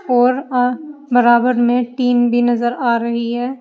और अ बराबर में टीन भी नजर आ रही है।